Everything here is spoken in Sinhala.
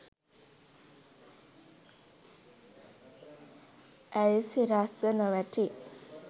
ඇයි සිරස්ව නොවැටි